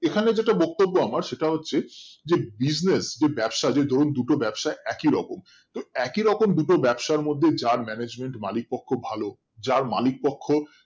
এখানে যেটা বক্তব্য আমার সেটা হচ্ছে যে business যে ব্যবসা যেমন দুটো ব্যবসা একই রকম তো একই রকম দুটোর ব্যবসার মধ্যে যার management মালিক পক্ষ ভালো যার মালিক পক্ষ